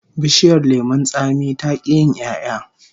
Bishiyar lemon tsami ta ki yin 'ya'ya